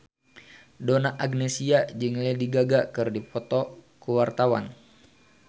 Donna Agnesia jeung Lady Gaga keur dipoto ku wartawan